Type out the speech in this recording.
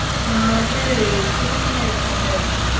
நா வந்து திருச்சில இருக்கேன் sir